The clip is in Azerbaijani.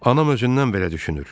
Anam özündən belə düşünür.